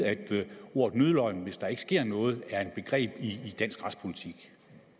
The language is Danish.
at vide at ordet nødløgn hvis der ikke sker noget er et begreb i dansk retspolitik